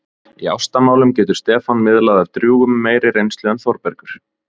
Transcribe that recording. Í ástamálum getur Stefán miðlað af drjúgum meiri reynslu en Þórbergur.